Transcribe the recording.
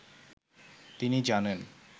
তিনি জানেন